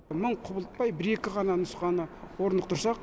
мың құбылтпай бір екі ғана нұсқаны орнықтырсақ